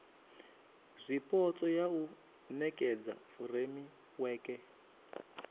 zwipotso ya u nekedza furemiweke